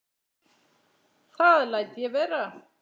Það læt ég vera